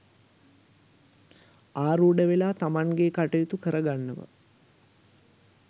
ඇරූඪ වෙලා තමන්ගේ කටයුතු කර ගන්නවා.